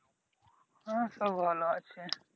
হ্যাঁ সব ভালো আছে ।